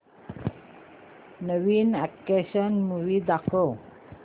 नवीन action movie दाखव